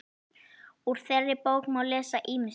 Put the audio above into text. Úr þeirri bók má lesa ýmislegt.